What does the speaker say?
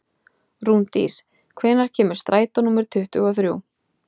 Rúndís, hvenær kemur strætó númer tuttugu og þrjú?